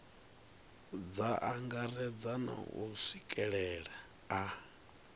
dza angaredza na u swikelelea